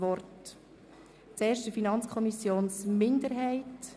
Reduktion des Kindergartenpensums für 4-Jährige von 1 Lektion pro Tag.